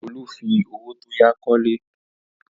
Olú fi owó tó yá kọ́ ilé.